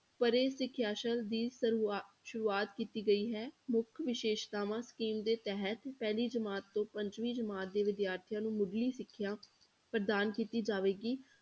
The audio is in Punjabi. ਪਰੇ ਸਿਖਿਆ ਸ਼ਾਲਾ ਦੀ ਸ਼ੁਰੂਆ~ ਸ਼ੁਰੂਆਤ ਕੀਤੀ ਗਈ ਹੈ, ਮੁੱਖ ਵਿਸ਼ੇਸ਼ਤਾਵਾਂ scheme ਦੇ ਤਹਿਤ ਪਹਿਲੀ ਜਮਾਤ ਤੋਂ ਪੰਜਵੀ ਜਮਾਤ ਦੇ ਵਿਦਿਆਰਥੀਆਂ ਨੂੰ ਮੁੱਢਲੀ ਸਿੱਖਿਆ ਪ੍ਰਦਾਨ ਕੀਤੀ ਜਾਵੇਗੀ।